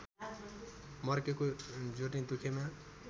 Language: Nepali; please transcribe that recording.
मर्केको जोर्नी दुखेकोमा